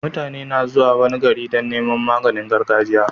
Mutane na zuwa wani gari Dan Neman maganin gargajiya